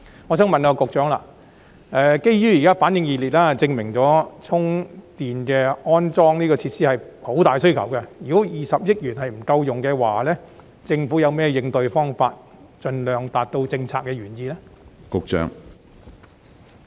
我想問局長，基於現時反應熱烈，證明市民對充電安裝設施有很大需求，如果計劃的20億元不夠用，政府有何應對方法盡量達到政策原意呢？